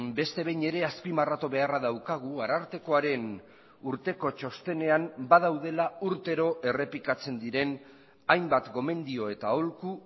beste behin ere azpimarratu beharra daukagu arartekoaren urteko txostenean badaudela urtero errepikatzen diren hainbat gomendio eta aholku